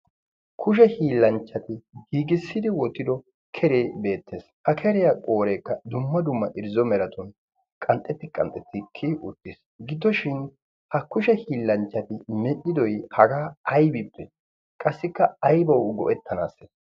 kushe hiillanchchati hiigissidi wotido keree beettees. ha keriyaa qooreekka dumma dumma irzzo meraton qanxxeti qanxxetti kii uttiis. giddoshin ha kushe hiillanchchati medhdhidoy hagaa aybippe qassikka aybawu go'ettanaasse?